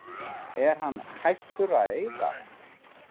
Er hann hættur að eyða?